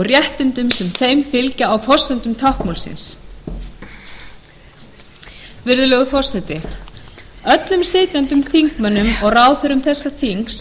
réttindum sem þeim fylgja á forsendum táknmálsins virðulegur forseti öllum sitjandi þingmönnum og ráðherrum þessa þings